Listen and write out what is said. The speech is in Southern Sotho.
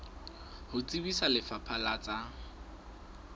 ho tsebisa lefapha la tsa